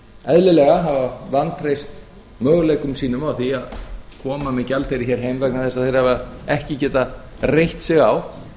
eðlilega hafa vantreyst möguleikum sínum á því að koma með gjaldeyri heima vegna þess að þeir hafa ekki getað reitt sig á